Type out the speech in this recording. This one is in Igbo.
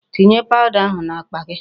Tinye powder ahụ n'akpa gị.